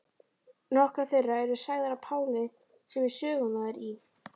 Nokkrar þeirra eru sagðar af Páli sem er sögumaður í